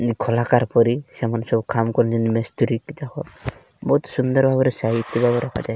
ଯେମତି ଖଲାକାର ପରି ସେମାନେ ସବୁ କାମ୍ କରିନେ ମିସ୍ତ୍ରୀକି ଦେଖ। ବହୁତ୍ ସୁନ୍ଦର୍ ଭାବରେ ସାଇଜରେ ରଖାଯାଇଚି।